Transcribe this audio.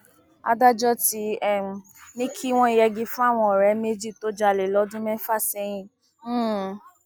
adájọ ti um ní kí wọn yẹgi fáwọn ọrẹ méjì tó jalè lọdún mẹfà sẹyìn um